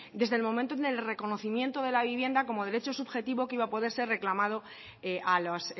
desde el momento en el reconocimiento de la vivienda como derecho subjetivo que iba a poder ser reclamado a las